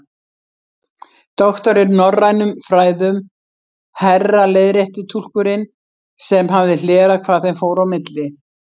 Doktor í norrænum fræðum, herra leiðrétti túlkurinn sem hafði hlerað hvað þeim fór á milli.